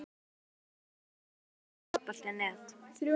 Á síðustu öld Hvernig finnst þér Fótbolti.net?